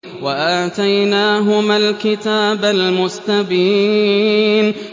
وَآتَيْنَاهُمَا الْكِتَابَ الْمُسْتَبِينَ